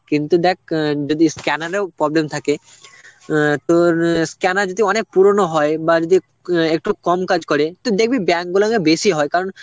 কিন্তু দেখ অ্যাঁ যদি scanner এও problem থাকে অ্যাঁ তোর scanner যদি অনেক পুরনো হয় বা যদি উম একটু কম কাজ করে, তুই দেখবি bank গুলাতে বেশি হয় কারণ